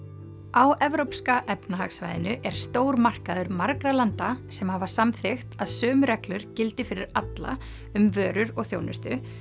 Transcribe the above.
á evrópska efnahagssvæðinu er stór markaður margra landa sem hafa samþykkt að sömu reglur gildi fyrir alla um vörur og þjónustu